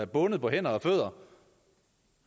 bundet på hænder og fødder